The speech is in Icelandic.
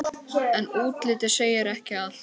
En útlitið segir ekki allt.